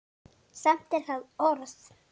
Samt er það orð.